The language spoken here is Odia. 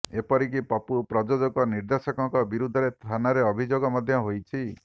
ଏପରିକି ପପୁ ପ୍ରଯୋଜକ ନିର୍ଦ୍ଦେଶକଙ୍କ ବିରୁଦ୍ଧରେ ଥାନରେ ଅଭିଯୋଗ ମଧ୍ୟ ହୋଇଛି